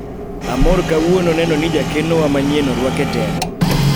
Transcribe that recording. amoro kawuono neno ni jakeno wa manyien orwak e telo